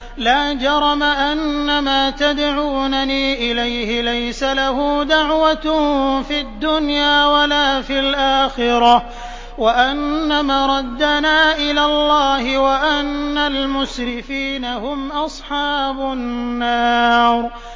لَا جَرَمَ أَنَّمَا تَدْعُونَنِي إِلَيْهِ لَيْسَ لَهُ دَعْوَةٌ فِي الدُّنْيَا وَلَا فِي الْآخِرَةِ وَأَنَّ مَرَدَّنَا إِلَى اللَّهِ وَأَنَّ الْمُسْرِفِينَ هُمْ أَصْحَابُ النَّارِ